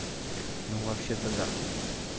ну вообще-то да